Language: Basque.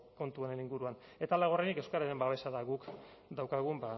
kontu honen inguruan eta laugarrenik euskararen babesa da guk daukagun